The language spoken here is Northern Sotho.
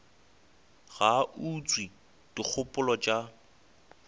ga a utswe dikgopolo tša